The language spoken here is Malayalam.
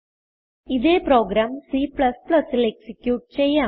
ഇതേ പ്രോഗ്രാം c ൽ എക്സിക്യൂട്ട് ചെയ്യാം